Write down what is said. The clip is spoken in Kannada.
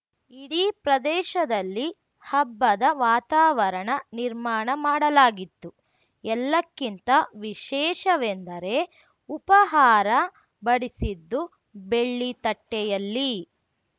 ಇಡೀ ಪ್ರದೇಶದಲ್ಲಿ ಹಬ್ಬದ ವಾತಾವರಣ ನಿರ್ಮಾಣ ಮಾಡಲಾಗಿತ್ತು ಎಲ್ಲಕ್ಕಿಂತ ವಿಶೇಷವೆಂದರೆ ಉಪಾಹಾರ ಬಡಿಸಿದ್ದು ಬೆಳ್ಳಿತಟ್ಟೆಯಲ್ಲಿ